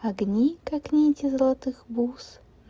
огни как нити золотых бус